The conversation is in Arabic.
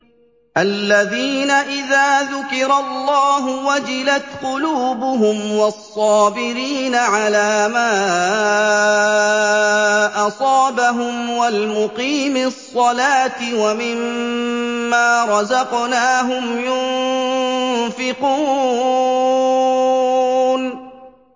الَّذِينَ إِذَا ذُكِرَ اللَّهُ وَجِلَتْ قُلُوبُهُمْ وَالصَّابِرِينَ عَلَىٰ مَا أَصَابَهُمْ وَالْمُقِيمِي الصَّلَاةِ وَمِمَّا رَزَقْنَاهُمْ يُنفِقُونَ